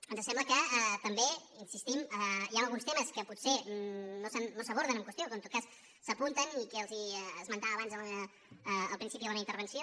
ens sembla que també hi insistim hi ha alguns temes que potser no s’aborden en qüestió o que en tot cas s’apunten i que els esmentava abans al principi de la meva intervenció